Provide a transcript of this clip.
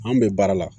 An bɛ baara la